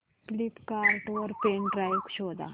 Flipkart वर pen drive शोधा